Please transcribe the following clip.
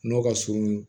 Nɔgɔ ka surun